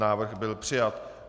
Návrh byl přijat.